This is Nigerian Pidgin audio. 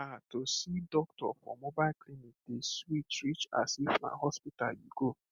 um to see doctor for mobile clinic dey sweet reach as if na hospital you go